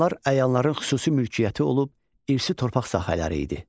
Onlar əyanların xüsusi mülkiyyəti olub irsi torpaq sahələri idi.